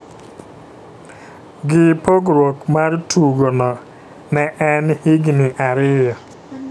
gi pogruok mar tugo no ne en higni ariyo.